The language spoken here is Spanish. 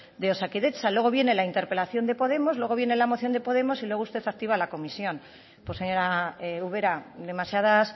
de osakidetza luego viene la interpelación de podemos luego viene la moción de podemos y luego usted activa la comisión pues señora ubera demasiadas